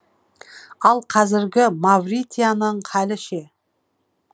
ал қазіргі мавритания халі ше